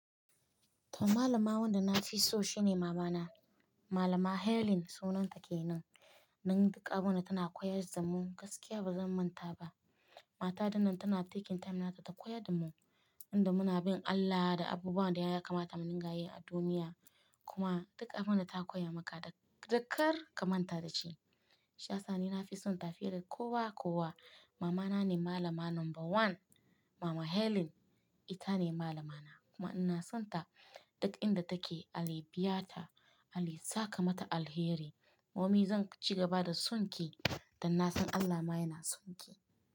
To, malama wanda na fi so shine mama na. Malama Helen sunan ta kenan. Nan duk abun da tana koya wa zumun gaskiya ba zan manta ba. Mata dinnan tana taking time nata ta koyar da mu, inda muna bin Allah da abubuwan da ya kamata mu dingayi a duniya. Kuma duk abun da ta koya maka dakar ka manta da shi. Sha sani na fi son tafiyar kowa kowa, mama na ne malama number one. Mama Helen ita ne malamana kuma ina son ta duk inda take Allah ya biya ta, Allah ya saka mata alheri. Mummy zan ci gaba da son ki dan na san Allah ma yana son ki.